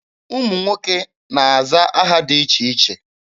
Ụmụ nwoke na-aza aha dị iche iche.